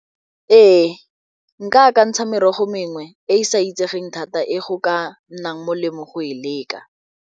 Ee, akantsha merogo mengwe e e sa itsegeng thata e go ka nnang molemo go e leka.